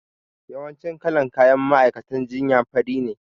Yawancin kalan kayan ma'aikatan jinya fari ne